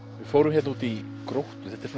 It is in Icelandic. fórum hérna út í Gróttu þetta er